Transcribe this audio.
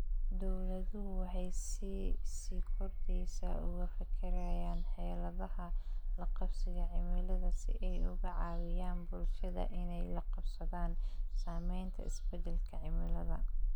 Dawladuhu waxay si sii kordheysa uga fekerayaan xeeladaha la qabsiga cimilada si ay uga caawiyaan bulshada inay la qabsadaan saameynta isbeddelka cimilada.